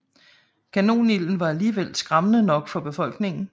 Kanonilden var alligevel skræmmende nok for befolkningen